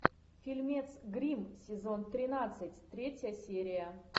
фильмец гримм сезон тринадцать третья серия